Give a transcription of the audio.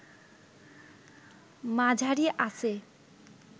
মাঝারি আঁচে